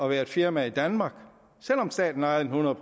være et firma i danmark selv om staten ejede den hundrede